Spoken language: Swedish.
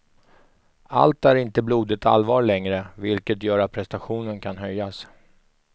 Allt är inte blodigt allvar längre, vilket gör att prestationen kan höjas.